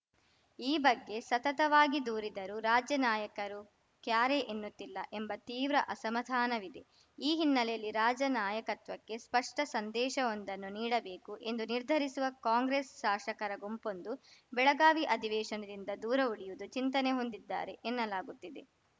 ಈ ಬಗ್ಗೆ ಸತತವಾಗಿ ದೂರಿದರೂ ರಾಜ್ಯ ನಾಯಕರು ಕ್ಯಾರೆ ಎನ್ನುತ್ತಿಲ್ಲ ಎಂಬ ತೀವ್ರ ಅಸಮಾಧಾನವಿದೆ ಈ ಹಿನ್ನೆಲೆಯಲ್ಲಿ ರಾಜ್ಯ ನಾಯಕತ್ವಕ್ಕೆ ಸ್ಪಷ್ಟಸಂದೇಶವೊಂದನ್ನು ನೀಡಬೇಕು ಎಂದು ನಿರ್ಧರಿಸುವ ಕಾಂಗ್ರೆಸ್‌ ಶಾಸಕರ ಗುಂಪೊಂದು ಬೆಳಗಾವಿ ಅಧಿವೇಶನದಿಂದ ದೂರವುಳಿಯುವುದು ಚಿಂತನೆ ಹೊಂದಿದ್ದಾರೆ ಎನ್ನಲಾಗುತ್ತಿದೆ